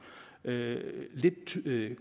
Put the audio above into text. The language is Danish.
lidt